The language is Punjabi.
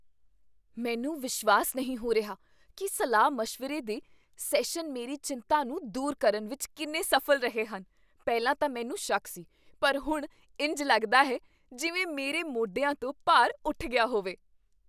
ਮੈਨੂੰ ਵਿਸ਼ਵਾਸ ਨਹੀਂ ਹੋ ਰਿਹਾ ਕੀ ਸਲਾਹ ਮਸ਼ਵਰੇ ਦੇ ਸੈਸ਼ਨ ਮੇਰੀ ਚਿੰਤਾ ਨੂੰ ਦੂਰ ਕਰਨ ਵਿੱਚ ਕਿੰਨੇ ਸਫ਼ਲ ਰਹੇ ਹਨ ਪਹਿਲਾਂ ਤਾਂ ਮੈਨੂੰ ਸ਼ੱਕ ਸੀ, ਪਰ ਹੁਣ ਇੰਝ ਲੱਗਦਾ ਹੈ ਜਿਵੇਂ ਮੇਰੇ ਮੋਢਿਆਂ ਤੋਂ ਭਾਰ ਉੱਠ ਗਿਆ ਹੋਵੇ